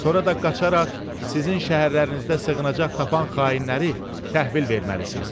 sonra da qaçaraq sizin şəhərlərinizdə sığınacaq tapan xainləri təhvil verməlisiniz.